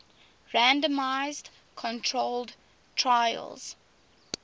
randomized controlled trials